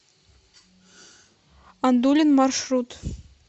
ондулин маршрут